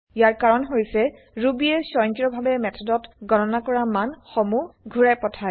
ইয়াৰ কাৰন হৈছে ৰুবিয়ে স্বংকি্ৰয়ভাবে মেথডত গণনা কৰা মান সমুহ ঘুৰাই পঠাই